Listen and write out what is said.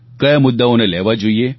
કયા મુદ્દાઓને લેવા જોઈએ